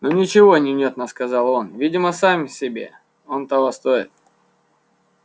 ну ничего невнятно сказал он видимо сам себе оно того стоит